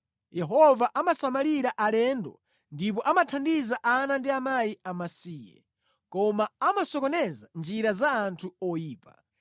Yehova amasamalira alendo ndipo amathandiza ana ndi akazi amasiye, koma amasokoneza njira za anthu oyipa.